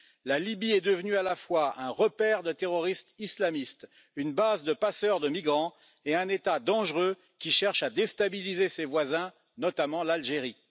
La Libye est devenue à la fois un repère de terroristes islamistes, une base de passeurs de migrants et un État dangereux, qui cherche à déstabiliser ses voisins, notamment l'Algérie.